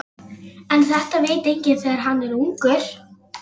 Sjáðu til, þetta er spurning um höggstað.